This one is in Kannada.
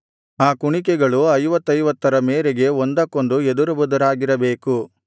ಆ ಕುಣಿಕೆಗಳು ಐವತ್ತೈವತ್ತರ ಮೇರೆಗೆ ಒಂದಕ್ಕೊಂದು ಎದುರುಬದುರಾಗಿರಬೇಕು